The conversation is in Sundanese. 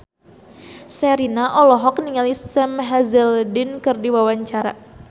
Sherina olohok ningali Sam Hazeldine keur diwawancara